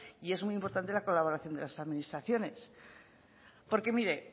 y es muy importante la colaboración de las administraciones porque mire